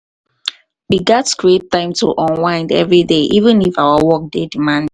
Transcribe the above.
we gats create time to unwind every day even if our work dey demanding.